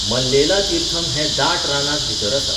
मल्लेला तीर्थम हें दाट रानांत भितर आसा.